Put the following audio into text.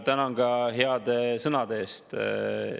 Tänan ka heade sõnade eest!